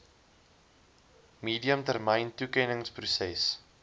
medium termyn toekenningsproses